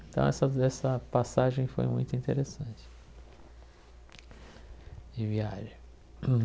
Então, essas essa passagem foi muito interessante de viagem.